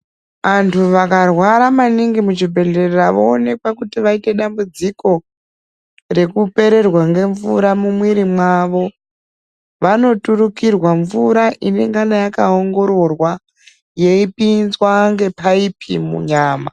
Antu akarwara maningi muchibhohlera voonekwa kuti vaita dambudziko rekupererwa nemvura mumwiri mawo vanoturikirwa mvura inenge yakaongororwa yeipinzwa ngepaupi munyama.